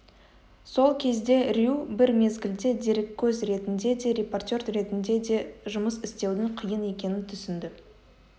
сол кезде рью бір мезгілде дереккөз ретінде де репортер ретінде де жұмыс істеудің қиын екенін түсінді